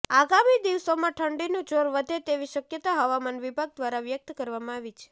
આગામી દિવસોમાં ઠંડીનું જોર વધે તેવી શક્યતા હવામાન વિભાગ દ્વારા વ્યક્ત કરવામાં આવી છે